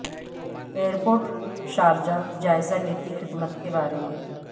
year port Sharjah جائزہ لیتی خدمت کے بارے میں